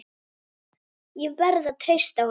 Ég verð að treysta honum.